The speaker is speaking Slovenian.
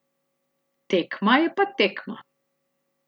Tekma je pa tekma.